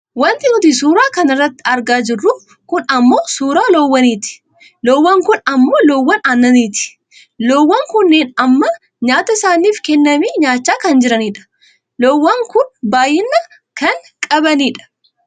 Wanti nuti suuraa kanarratti argaa jirru kun ammoo suuraa loowwaniiti. Loowwan kun ammoo loowwan aannaniiti. Loowwan kunneen amma nyaata isaaniif kenname nyaachaa kan jiranidha. Loowwan kun baayyina kan qabanii dha.